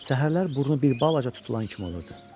Səhərlər burnu bir balaca tutulan kimi olurdu.